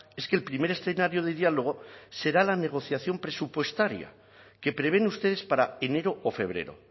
es que el primer escenario de diálogo será la negociación presupuestaria que prevén ustedes para enero o febrero